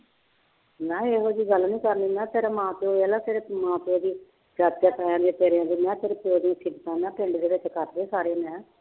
ਮੈਂ ਕਿਹਾ ਇਹੋ ਜਿਹੀ ਗੱਲ ਨੀ ਕਰਨੀ, ਮੈਂ ਕਿਹਾ ਤੇਰੇ ਮਾਂ ਪਿਓ ਵੇਖ ਲਾ ਤੇਰੇ ਮਾਂ ਪਿਓ ਦੀ ਚਾਚਿਆਂ ਤਾਇਆਂ ਦੇ ਤੇਰਿਆਂ ਦੇ ਮੈਂ ਕਿਹਾ ਤੇਰੇ ਪਿਓ ਦੀਆਂ ਸਿਫ਼ਤਾਂ ਮੈਂ ਕਿਹਾ ਪਿੰਡ ਦੇ ਵਿੱਚ ਕਰਦੇ ਆ ਸਾਰੇ ਮੈਂ ਕਿਹਾ।